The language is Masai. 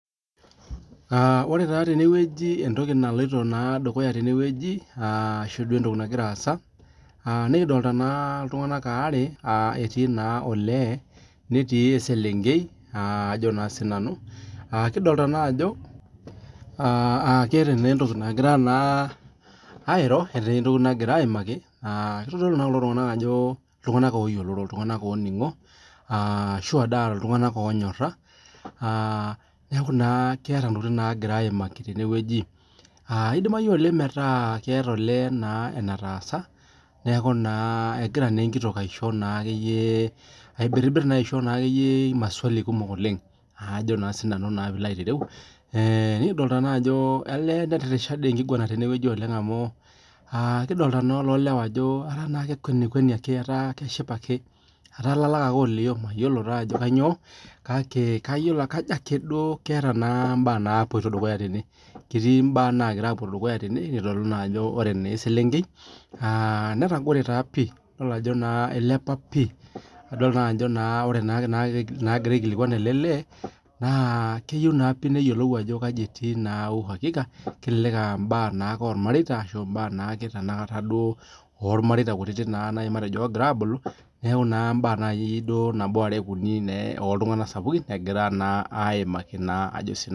Aah ore taa tene wueji entoki naloito naa dukuyaa tene wueji, aashu entoki nagira aaza aah nikidolita naa iltungana aare, aaa etii naa oleee netii eselenkei aa ajo naa sii nani, kadolta naa ajo aah keeta nee entoki nagira naa airo, etii entoki nagira aimaaki aah kitodolu naa kulo tungana ajo iltungana ayioloro, Iltungana ooning'o aashu aa shua iltunganaoonyorra neeku ketii intokitin nagira aimaaki tene wueji, as eidimayu meetaa keeta olee naa enayaasa, neeku egira naa ekitok aishoo naakeyie aibirrirr naakeyie aisho naakeyie maswali kumok oleng ajo naa sii nani piilo aitereu, nikidolita naa ajo netirrishaa dii enkiguran tene wueji oleng amu aa kidolta naa ollolewa ajo etaa naa kekwenikweni ake, etaa keshipa ake, etaa lala ake olio mayiolo ako kainyoo kake kayiolo ake kajo ake keeta mbaa napoito dukuyaa tene, ketii imbaa nagira apuo dukuyaa tene, itodolu naa ajo ore naa eselenkei aah netagore taa pii, idol ajo ilepa pii, idol ajo nagira aikilikwan ele leee naa keyieu neyiolou ajo kaji etii uhakika, kelelek aa mbaa naake oormateita mbaa ormaireta kutiti, matejo oira aabulu neeku imbaa nakee nabo, are, uni naa oltungana sapukin egira naa aimaaki ajo sii nanu.